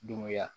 Dunuya